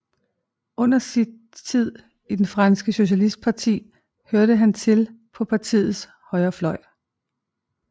Under sin tid i det franske Socialistparti hørte han til på partiets højrefløj